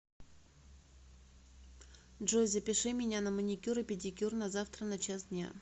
джой запиши меня на маникюр и педикюр на завтра на час дня